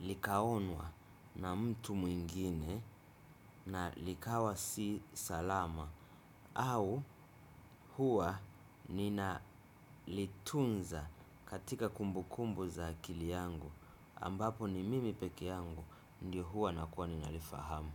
likaonwa na mtu mwingine na likawa si salama. Au huwa ninalitunza katika kumbu kumbu za akili yangu ambapo ni mimi peke yangu ndio huwa nakuwa ninalifahamu.